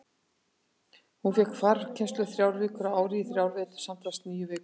Hún fékk farkennslu þrjár vikur á ári í þrjá vetur, samtals níu vikur.